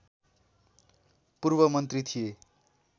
पूर्वमन्त्री थिए